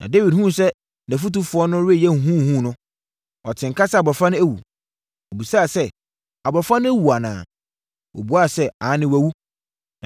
Na Dawid hunuu sɛ nʼafotufoɔ no reyɛ huhuhuhu no, ɔtee nka sɛ abɔfra no awu. Ɔbisaa sɛ, “Abɔfra no awu anaa?” Wɔbuaa sɛ, “Aane, wawu.”